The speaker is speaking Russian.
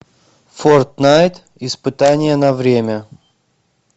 форт найт испытание на время